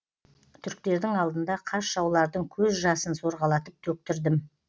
түріктердің алдында қас жаулардың көз жасын сорғалатып төктірдім